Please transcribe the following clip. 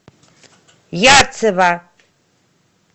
ярцево